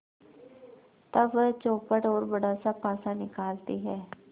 तब वह चौपड़ और बड़ासा पासा निकालती है